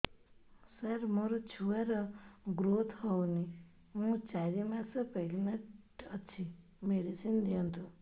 ସାର ମୋର ଛୁଆ ର ଗ୍ରୋଥ ହଉନି ମୁ ଚାରି ମାସ ପ୍ରେଗନାଂଟ ଅଛି ମେଡିସିନ ଦିଅନ୍ତୁ